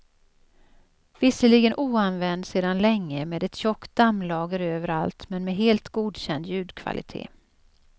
Visserligen oanvänd sedan länge med ett tjockt dammlager överallt men med helt godkänd ljudkvalitet.